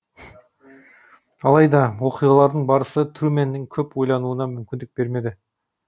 алайда оқиғалардың барысы трумэннің көп ойлануына мүмкіндік бермеді